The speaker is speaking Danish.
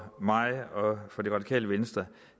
mig og det radikale venstre